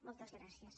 moltes gràcies